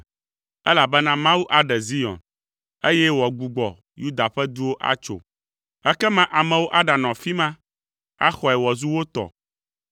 elabena Mawu aɖe Zion, eye wòagbugbɔ Yuda ƒe duwo atso. Ekema amewo aɖanɔ afi ma, axɔe wòazu wo tɔ;